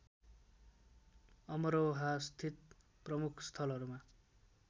अमरोहा स्थित प्रमुख स्थलहरूमा